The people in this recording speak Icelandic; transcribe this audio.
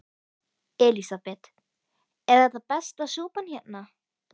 Elísabet: Er þetta besta súpan hérna?